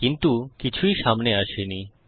কিন্তু কিছুই সামনে আসেনি